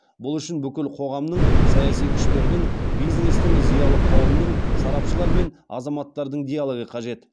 бұл үшін бүкіл қоғамның саяси күштердің бизнестің зиялы қауымның сарапшылар мен азаматтардың диалогы қажет